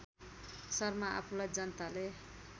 शर्मा आफूलाई जनताले